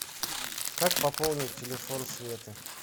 как пополнить телефон светы